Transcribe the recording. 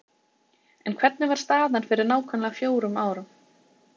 En hvernig var staðan fyrir nákvæmlega fjórum árum?